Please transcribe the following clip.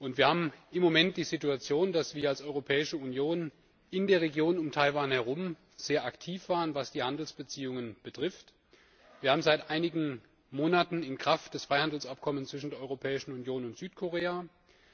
Wir haben im Moment die Situation, dass wir als Europäische Union in der Region um Taiwan herum sehr aktiv waren, was die Handelsbeziehungen betrifft. Wir haben seit einigen Monaten das Freihandelsabkommen zwischen der Europäischen Union und Südkorea in Kraft.